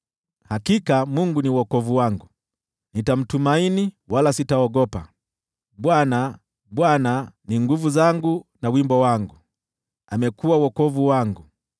Hakika Mungu ni wokovu wangu; nitamtumaini wala sitaogopa. Bwana , Bwana , ni nguvu zangu na wimbo wangu; amekuwa wokovu wangu.”